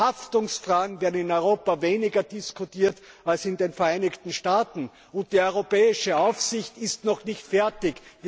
Die Haftungsfragen werden in Europa weniger diskutiert als in den Vereinigten Staaten, und die europäische Aufsicht ist noch nicht fertig.